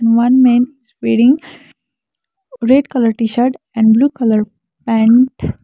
one man is wearing red colour t-shirt and blue colour pant.